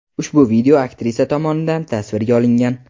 Ushbu video aktrisa tomonidan tasvirga olingan.